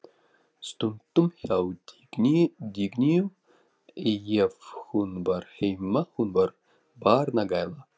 Stundum hjá Dagnýju ef hún var heima, hún var barnagæla.